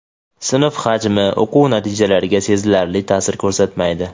sinf hajmi o‘quv natijalariga sezilarli taʼsir ko‘rsatmaydi.